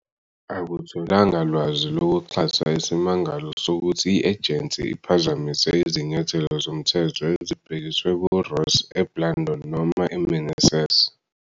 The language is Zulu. Akutholanga lwazi lokuxhasa isimangalo sokuthi i-ejensi iphazamise izinyathelo zomthetho ezibhekiswe kuRoss, eBlandón noma eMeneses.